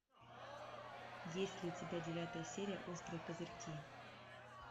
есть ли у тебя девятая серия острые козырьки